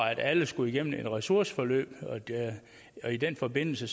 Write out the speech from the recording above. alle skulle gennem et ressourceforløb i den forbindelse